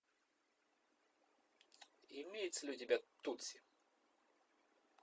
имеется ли у тебя тутси